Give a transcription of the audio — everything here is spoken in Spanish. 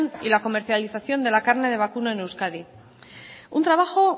y la comercialización de la carne de vacuno en euskadi un trabajo